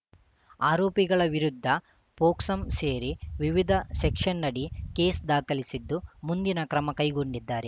ಆರೋಪಿಗಳ ವಿರುದ್ಧ ಪೋಕ್ಸಾಂ ಸೇರಿ ವಿವಿಧ ಸೆಕ್ಷನ್‌ನಡಿ ಕೇಸ್‌ ದಾಖಲಿಸಿದ್ದು ಮುಂದಿನ ಕ್ರಮ ಕೈಗೊಂಡಿದ್ದಾರೆ